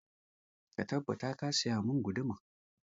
Ka tabbata ka saya mun guduma!